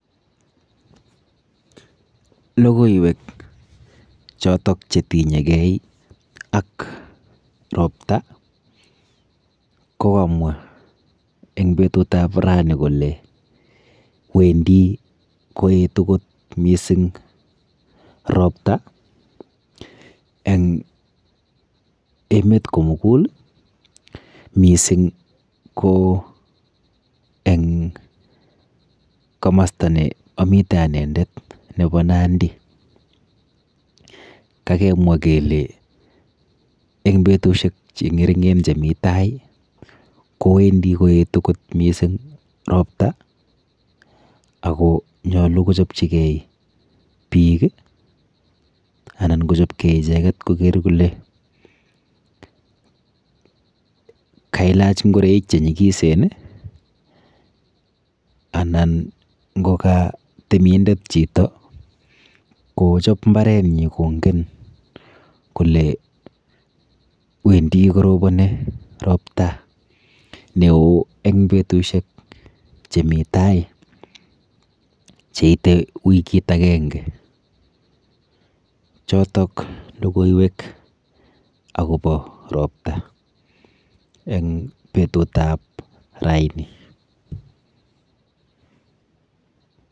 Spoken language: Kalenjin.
Logoiwek chotok chetinyegei ak ropta ko kamwa eng petutap rani kole wendi koetu kot mising ropta eng emet komugul mising ko eng komasta neamite anendet nepo Nandi. Kakemwa kele eng betushek cheng'ering'en chemi tai kowendi koetu kot mising ropta ako nyolu kochopchigei biik anan kochopkei icheket koker kole kailach ngoreik chenyikisen anan ngoka temindet chito kochop mbarenyi kongen kole wendi koroponi ropta neo eng betushek chemi tai cheite wikit akenge. Chotok logoiewek akopo ropta eng petutap raini.